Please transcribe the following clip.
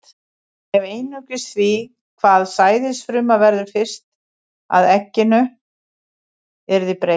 Ef einungis því, hvaða sæðisfruma verður fyrst að egginu, yrði breytt.